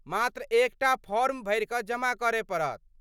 मात्र एकटा फॉर्म भरि कऽ जमा करय पड़त।